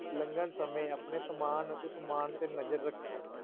ਲੰਗਣ ਸਮੇਂ ਆਪਣੇ ਸਮਾਨ ਅਤੇ ਸਮਾਨ ਤੇ ਨਜ਼ਰ ਰੱਖੋ।